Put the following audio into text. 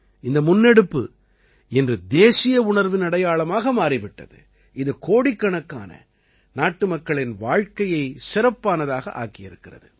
இந்த முன்னெடுப்பு இன்று தேசிய உணர்வின் அடையாளமாக மாறி விட்டது இது கோடிக்கணக்கான நாட்டுமக்களின் வாழ்க்கையை சிறப்பானதாக ஆக்கியிருக்கிறது